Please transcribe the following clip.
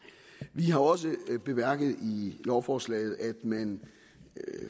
vi har også bemærket i lovforslaget at man